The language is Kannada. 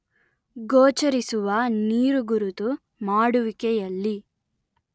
ಗೋಚರಿಸುವ ನೀರುಗುರುತು ಮಾಡುವಿಕೆಯಲ್ಲಿ